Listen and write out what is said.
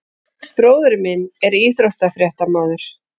Bróðir minn er íþróttafréttamaður.